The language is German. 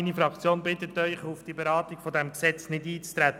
Meine Fraktion bittet Sie, auf die Beratung dieses Gesetzes nicht einzutreten.